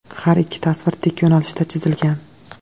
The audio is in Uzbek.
Har ikki tasvir tik yo‘nalishda chizilgan.